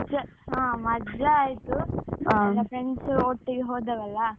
ಮಜಾ ಮಜಾ ಆಯ್ತು. ನನ್ನ friends ಒಟ್ಟಿಗೆ ಹೋದದ್ದಲ್ಲಾ.